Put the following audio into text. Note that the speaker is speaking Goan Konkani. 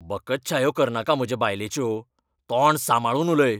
बकच्छायो करनाका म्हजे बायलेच्यो! तोंड सांबाळून उलय!